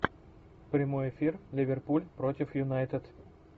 прямой эфир ливерпуль против юнайтед